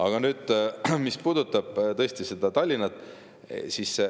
Aga nüüd sellest, mis puudutab Tallinna.